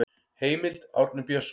Heimild: Árni Björnsson.